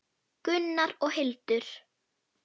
Gunnar og Hildur.